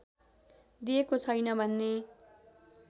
दिएको छैन भन्ने